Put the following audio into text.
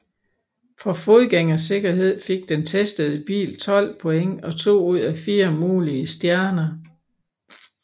For fodgængersikkerhed fik den testede bil 12 point og to ud af fire mulige stjerner